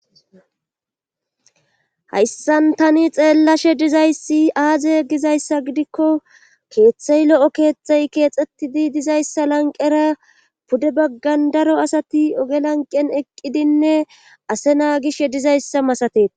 hayssan tani xeellashe dizayssi aaze gizayssa gidikko keeththey lo7o keettey keexxettidi dizayssa lanqera pude baggan daro asati oge lanqen eqqidinne ase naa gish dizayssa masatet